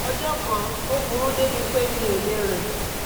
ọjọ́ kan ó burú débi pé mi ò lè rìn